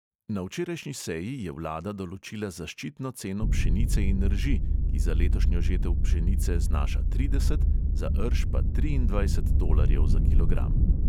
Na včerajšnji seji je vlada določila zaščitno ceno pšenice in rži, ki za letošnjo žetev pšenice znaša trideset, za rž pa triindvajset tolarjev za kilogram.